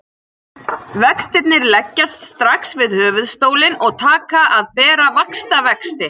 Vextirnir leggjast strax við höfuðstólinn og taka að bera vaxtavexti.